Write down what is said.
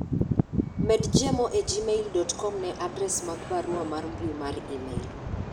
med jemo e gmail dot kom ne adres mag barua mar mbui mar email